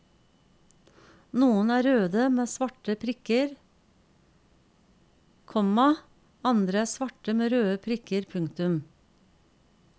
Noen er røde med svarte prikker, komma andre er svarte med røde prikker. punktum